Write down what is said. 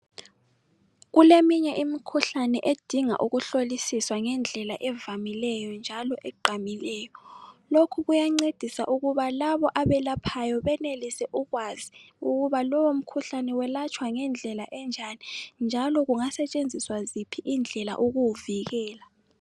Kule minye imikhuhlane edinga ukuhlolisiswa ngendlela evamileyo njalo egqamileyo lokhu kuyancedisa ukuba labo abelaphayo benelise ukwazi ukuba lowo mkhuhlane welatshwa ngendlela enjani njalo kungasetshenziswa ziphi indlela ukuwuvikela.